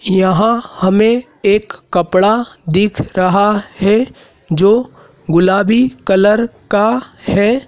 यहां हमें एक कपड़ा दिख रहा है जो गुलाबी कलर का है।